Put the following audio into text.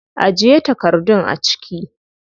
Ajiye takardun a ciki.